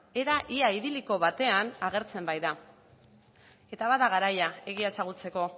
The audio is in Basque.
era ia idiliko batean agertzen baita eta bada garaia egia ezagutzeko